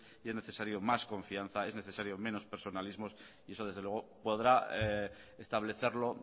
y es necesario más confianza es necesario menos personalismo y eso desde luego podrá establecerlo